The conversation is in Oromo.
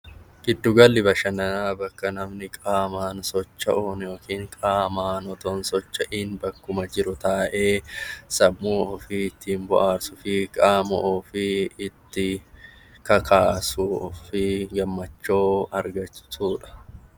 Giddu galli bashannanaa bakka namni qaamaan socho'uun yookiin qaamaan osoo hin socho'iin bakkuma jiru taa'ee sammuu ofii ittiin bohaarsuu fi qaama ofii ittiin kakaasuu fi gammachuu argachuudha.